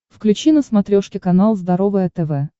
включи на смотрешке канал здоровое тв